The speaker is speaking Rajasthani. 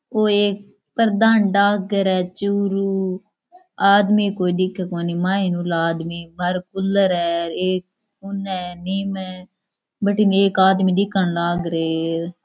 ओ एक प्रधान डाक घर है चुरू आदमी कोई दिखे कोणी मायन हूला आदमी बाहरे कूलर है एक उने है नीम है बठीनै एक आदमी दिखन लाग रहे है।